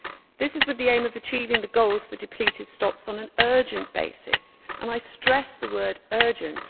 This is with the aim of achieving the goals for depleted stocks on an urgent basis and I stress the word urgent'.